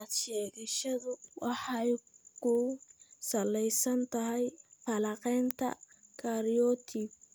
Cilad-sheegashadu waxay ku salaysan tahay falanqaynta karyotype.